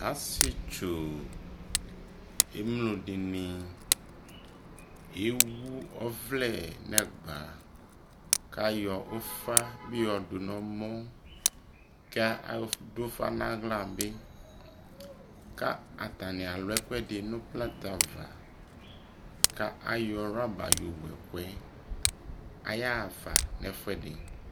asii tsɔ, ɛmlɔ dini ɛwʋ ɔvlɛ nʋ ɛgba kʋ ayɔ ʋƒa bi yɔdʋ nʋ ɛmɔ kʋ adʋ ʋƒa nʋ ala bi kʋ atani alʋ ɛkʋɛdi nʋplɛtɛ aɣa kʋ ayɔ rubber yɔ wʋ ɛkʋɛ, ayaa ƒa nʋ ɛƒʋɛdi